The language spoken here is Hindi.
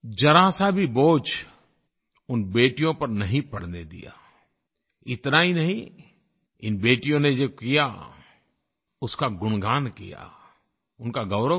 ज़रासा भी बोझ उन बेटियों पर नहीं पड़ने दिया इतना ही नहीं इन बेटियों ने जो किया उसका गुणगान किया उनका गौरव किया